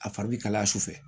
A fari bɛ kalaya su fɛ